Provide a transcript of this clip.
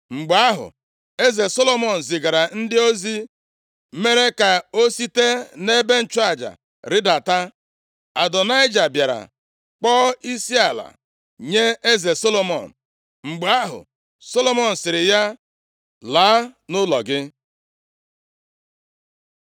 Mgbe ahụ, eze Solomọn, zigara ndị ozi mere ka o site nʼebe nchụaja rịdata. Adonaịja bịara kpọọ isiala nye eze Solomọn. Mgbe ahụ, Solomọn sịrị ya, “Laa nʼụlọ gị.”